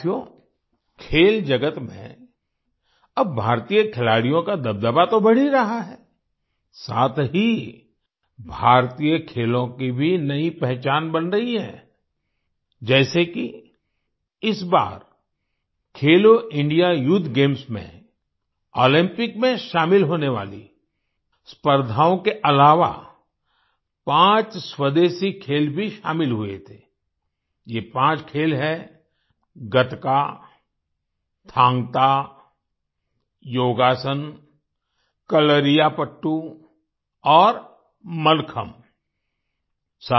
साथियो खेल जगत में अब भारतीय खिलाड़ियों का दबदबा तो बढ़ ही रहा है साथ ही भारतीय खेलों की भी नई पहचान बन रही है आई जैसे कि इस बार खेलो इंडिया यूथ गेम्स में ओलंपिक में शामिल होने वाली स्पर्धाओं के अलावा पाँच स्वदेशी खेल भी शामिल हुए थे आई ये पाँच खेल हैं गतका थांग ता योगासन कलरीपायट्टू और मल्लखम्ब आई